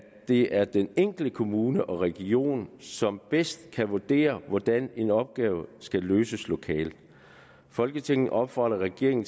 det er den enkelte kommune og region som bedst kan vurdere hvordan en opgave skal løses lokalt folketinget opfordrer regeringen